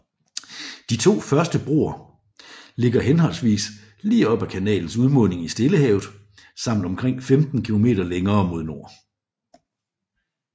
De to første broer ligger henholdsvis lige op ad kanalens udmunding i Stillehavet samt omkring 15 km længere mod nord